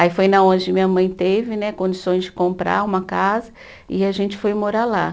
Aí foi onde minha mãe teve né, condições de comprar uma casa e a gente foi morar lá.